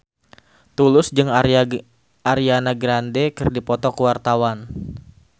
Tulus jeung Ariana Grande keur dipoto ku wartawan